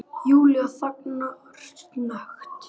Júlía þagnar snöggt.